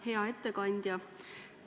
Hea ettekandja!